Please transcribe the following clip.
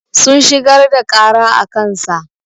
Sun shigar da ƙara a kansa.